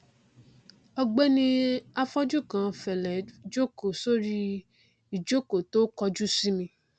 ọgbẹni afọjú kan fẹlẹ jókòó sórí ìjòkó tó kọjú sí mi